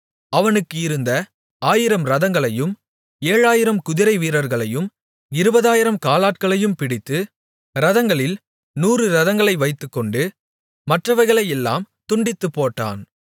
அவனுக்கு இருந்த ஆயிரம் இரதங்களையும் ஏழாயிரம் குதிரை வீரர்களையும் இருபதாயிரம் காலாட்களையும் பிடித்து இரதங்களில் நூறு இரதங்களை வைத்துக்கொண்டு மற்றவைகளையெல்லாம் துண்டித்துப்போட்டான்